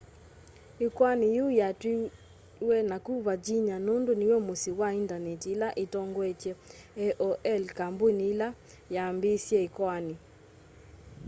ikoani yiu yatwiwe naku virginia nundu niw'o musyi wa indaneti ila itongoetye aol kambuni ila yambiisye ikoani